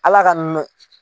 Ala ka